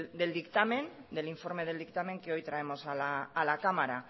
del dictamen del informe del dictamen que hoy traemos a la cámara